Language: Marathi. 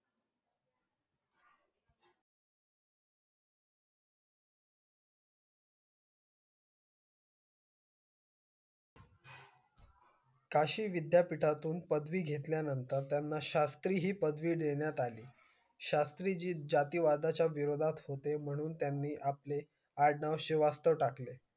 कशी विद्या पिठातून पदवी घेतल्या नंतर त्याना शास्त्री हि पदवी देण्यात अली शास्त्रीजी जातिवादा च्या विरोदात होते म्हणून त्यानी आपले आडनाव श्रीवास्तव टाकले